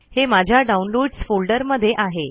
हे माझ्या downloads folder मध्ये आहे